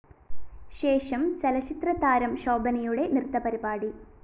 ശേഷം ചലച്ചിത്രതാരം ശോഭനയുടെ നൃത്തപരിപാടി